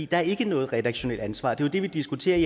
der er ikke noget redaktionelt ansvar det er jo det vi diskuterer i